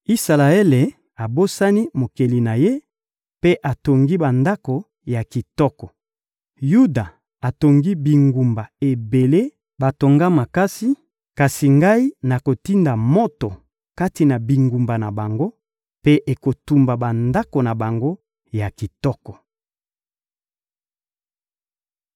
Isalaele abosani Mokeli na ye mpe atongi bandako ya kitoko; Yuda atongi bingumba ebele batonga makasi; kasi Ngai nakotinda moto kati na bingumba na bango, mpe ekotumba bandako na bango ya kitoko.»